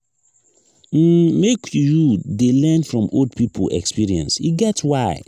um make you dey learn from old pipo experience e get why.